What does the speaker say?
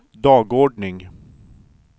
dagordning